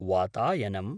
वातायनम्